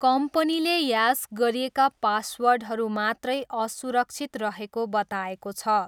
कम्पनीले ह्यास गरिएका पासवर्डहरू मात्रै असुरक्षित रहेको बताएको छ।